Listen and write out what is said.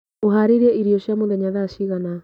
ũharĩirie irio cia mũthenya thaa cigana?